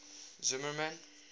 zimmermann